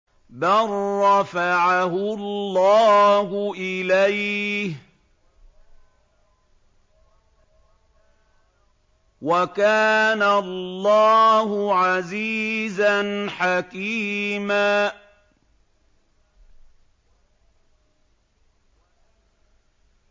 بَل رَّفَعَهُ اللَّهُ إِلَيْهِ ۚ وَكَانَ اللَّهُ عَزِيزًا حَكِيمًا